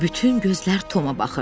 Bütün gözlər Toma baxırdı.